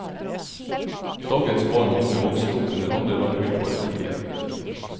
Dagens barn og unge vokser opp under andre rammevilkår enn tidligere.